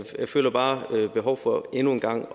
jeg føler bare behov for endnu en gang